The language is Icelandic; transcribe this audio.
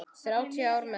Þrjátíu ár með henni.